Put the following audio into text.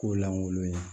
K'o lankolon ye